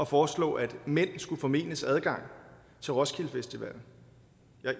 foreslå at mænd skulle formenes adgang til roskilde festival